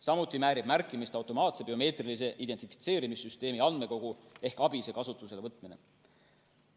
Samuti väärib märkimist automaatse biomeetrilise identifitseerimise süsteemi andmekogu ehk ABIS‑e kasutusele võtmine.